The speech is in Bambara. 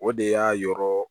O de y'a yɔrɔ